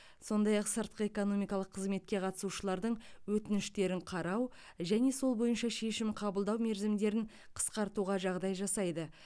сондай ақ сыртқы экономикалық қызметке қатысушылардың өтініштерін қарау және сол бойынша шешім қабылдау мерзімдерін қысқартуға жағдай жасайды